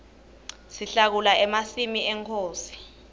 sihlakula emasimi enkhosi